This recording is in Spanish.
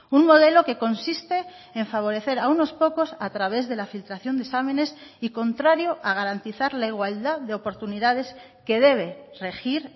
un modelo que consiste en favorecer a unos pocos a través de la filtración de exámenes y contrario a garantizar la igualdad de oportunidades que debe regir